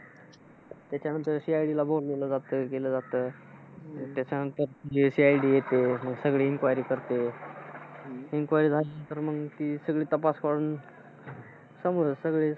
त्याच्यानंतर CID ला बोलावलं जात, केलं जातं. आणि त्याच्यानंतर CID येते. मग सगळी inquiry करते. Inquiry झाली नंतर मग की सगळी तपास करून. समोर सगळं.